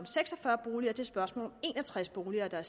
seks og fyrre boliger det spørgsmål om en og tres boliger der